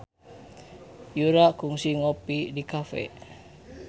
Yura kungsi ngopi di cafe